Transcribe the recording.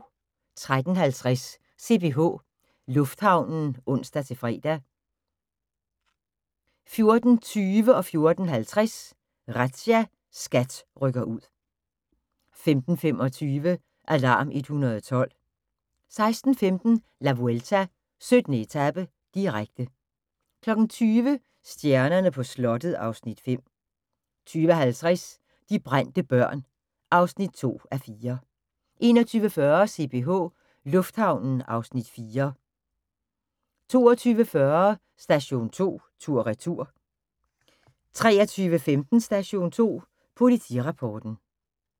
13:50: CPH Lufthavnen (ons-fre) 14:20: Razzia – SKAT rykker ud 14:50: Razzia – SKAT rykker ud 15:25: Alarm 112 16:15: La Vuelta: 17. etape, direkte 20:00: Stjernerne på slottet (Afs. 5) 20:50: De brændte børn (2:4) 21:40: CPH Lufthavnen (Afs. 4) 22:40: Station 2 tur/retur 23:15: Station 2 Politirapporten